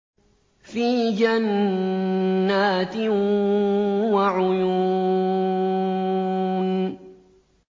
فِي جَنَّاتٍ وَعُيُونٍ